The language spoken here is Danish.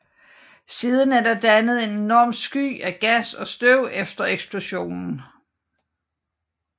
Siden er der dannet en enorm sky af gas og støv efter eksplosionen